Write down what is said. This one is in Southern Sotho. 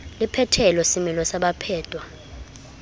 le phethelo semelo sa baphetwa